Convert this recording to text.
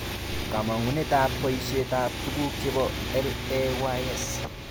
Kamangunetab boishetab tuguk chebo LAYS